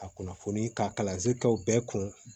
A kunnafoni ka kalansen kɛw bɛɛ kun